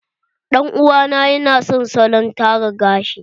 Ɗan uwa na ya na son salon tara gashi.